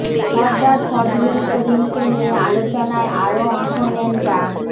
সরদার ফজলুল করিমকে নিয়ে আলোচনায় আরো অংশ নেন ডা